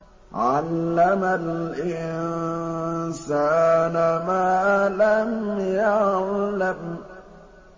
عَلَّمَ الْإِنسَانَ مَا لَمْ يَعْلَمْ